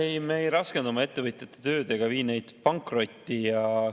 Ei, me ei raskenda oma ettevõtjate tööd ega vii neid pankrotti.